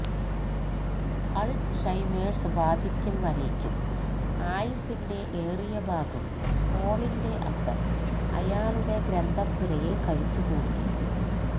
Alzheimer's ബാധിക്കും വരേയ്ക്കും ആയുസ്സിന്റെ ഏറിയ ഭാഗവും പോളിന്റെ അപ്പൻ അയാളുടെ ഗ്രന്ഥപ്പുരയിൽ കഴിച്ചുകൂട്ടി